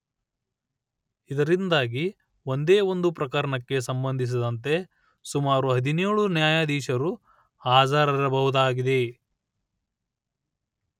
ಇದರಿಂದಾಗಿ ಒಂದೇ ಒಂದು ಪ್ರಕರಣಕ್ಕೆ ಸಂಬಂಧಿಸಿದಂತೆ ಸುಮಾರು ಹದಿನೇಳು ನ್ಯಾಯಾಧೀಶರು ಹಾಜರಿರಬಹುದಾಗಿದೆ